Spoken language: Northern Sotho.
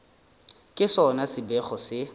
ke sona se bego se